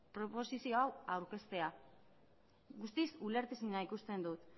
proposizio hau aurkeztea guztiz ulertezina ikusten dut